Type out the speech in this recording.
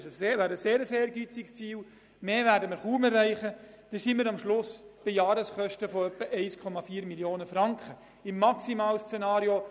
Dies wäre eine gute Entwicklung, aber gleichzeitig ein sehr ehrgeiziges Ziel.